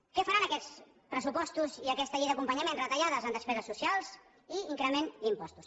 què faran aquests pressupostos i aquesta llei d’acompanyament retallades en despeses socials i increment d’impostos